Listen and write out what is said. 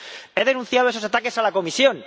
He denunciado esos ataques a la Comisión.